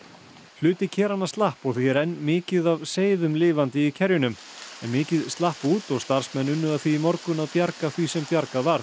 hluti slapp og því er enn mikið af seiðum lifandi í kerjunum en mikið slapp út og starfsmenn unnu að því í morgun að bjarga því sem bjargað varð